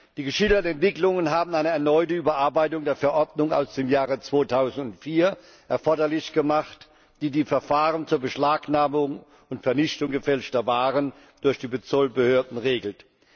Die geschilderten Entwicklungen haben eine erneute Überarbeitung der Verordnung aus dem Jahr 2004 erforderlich gemacht, die die Verfahren zur Beschlagnahmung und Vernichtung gefälschter Waren durch die Zollbehörden regelt.